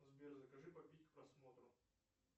сбер закажи попить к просмотру